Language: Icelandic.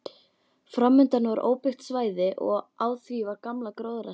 Framundan var óbyggt svæði og á því var gamla gróðrarstöðin.